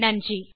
நன்றி